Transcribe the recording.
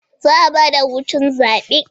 Za'a ba da hutun zabe